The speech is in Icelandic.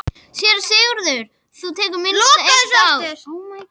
SÉRA SIGURÐUR: Það tekur minnst eitt ár.